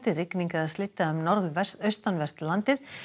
rigning eða slydda um norðaustanvert landið